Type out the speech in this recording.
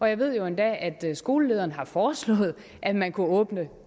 jeg ved endda at skolelederen har foreslået at man kunne åbne